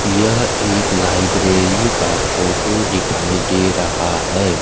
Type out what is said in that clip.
यह एक लाइब्रेरी का फोटो दिखाई दे रहा है।